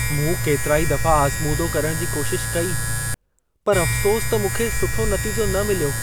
मूं केतिरा ई दफा आज़मूदो करण जी कोशिश कई, पर अफ्सोस त मूंखे सुठो नतीजो न मिलियो।